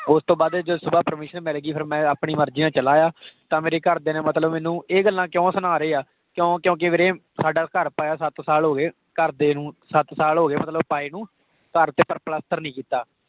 ਓਸ ਤੋਂ ਬਾਅਦ ਜਦੋ ਉਸ ਤੋਹ ਬਾਅਦ permission ਮਿਲ ਗਈ। ਫਿਰ ਮੈਂ ਆਪਣੀ ਮਰਜ਼ੀ ਨਾਲ ਚਲਾ ਗਿਆ। ਤਾਂ ਮੇਰੇ ਘਰ ਦਿਆਂ ਨੇ ਮਤਲਬ ਮੈਨੂੰ ਇਹ ਗੱਲਾਂ ਕਿਉਂ ਸੁਣਾ ਰਹੇ ਆ? ਕਿਉਂ ਕਿਉਂਕਿ ਵੀਰੇ ਸਾਡਾ ਘਰ ਪਾਇਆ ਸਤ ਸਾਲ ਹੋ ਗਏ, ਘਰ ਦੇ ਨੂੰ ਸੱਤ ਸਾਲ ਹੋ ਗਏ ਮਤਲਬ ਪਾਏ ਨੂੰ। ਘਰ ਵਿੱਚ ਇੱਕ ਪਲੱਸਤਰ ਨਹੀਂ ਕੀਤਾ।